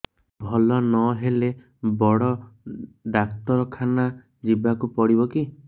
ଭଲ ନହେଲେ ବଡ ଡାକ୍ତର ଖାନା ଯିବା କୁ ପଡିବକି